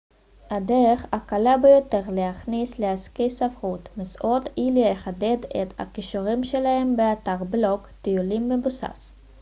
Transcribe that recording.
הדרך הקלה ביותר להיכנס לעסקי ספרות מסעות היא לחדד את הכישורים שלכם באתר בלוג טיולים מבוסס